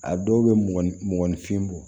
A dɔw bɛ mɔ ni mɔgɔninfin bɔ